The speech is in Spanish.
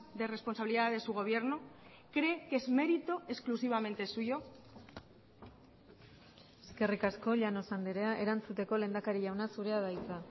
de responsabilidad de su gobierno cree que es mérito exclusivamente suyo eskerrik asko llanos andrea erantzuteko lehendakari jauna zurea da hitza